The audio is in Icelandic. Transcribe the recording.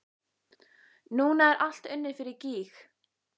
Núna er allt unnið fyrir gýg.